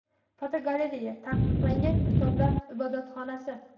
Fotogalereya: Taqiqlangan kitoblar ibodatxonasi.